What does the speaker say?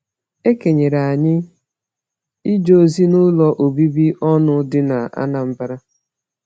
E kenyere anyị ije ozi n’ụlọ obibi ọnụ dị n’Anambra.